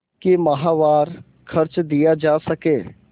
कि माहवार खर्च दिया जा सके